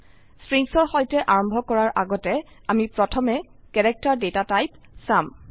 স্ট্ৰিংসৰ সৈতে আৰম্ভ কৰাৰ আগতে আমি প্ৰথমে ক্যাৰেক্টাৰ ডেটা টাইপ চাম